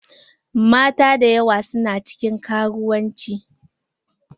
Mata dayawa su na cikin karuwanci.